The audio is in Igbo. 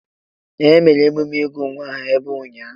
Ee, emere emume ịgụ nwa aha ebe a ụnyaahụ.